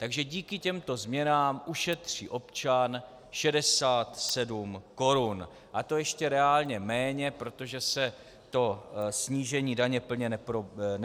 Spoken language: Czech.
Takže díky těmto změnám ušetří občan 67 korun, a to ještě reálně méně, protože se to snížení daně plně nepromítne.